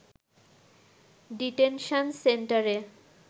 detention সেন্টারে